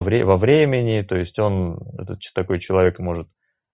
время во времени то есть он этот такой человек может